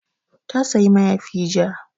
Ta sayi mayafi ja